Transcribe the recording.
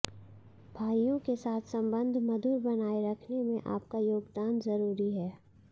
भाइयों के साथ संबंध मधुर बनाए रखने में आपका योगदान जरूरी है